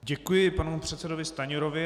Děkuji panu předsedovi Stanjurovi.